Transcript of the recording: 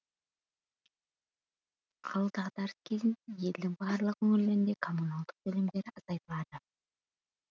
ал дағдарыс кезінде елдің барлық өңірлерінде коммуналдық төлемдер азайтылады